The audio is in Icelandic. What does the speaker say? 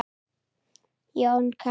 Jón Kári.